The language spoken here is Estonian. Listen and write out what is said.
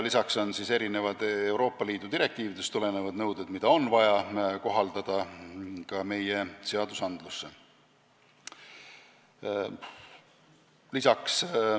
Nimelt on ka mitmed Euroopa Liidu direktiividest tulenevad nõuded, mis on vaja meie seadustikku üle võtta.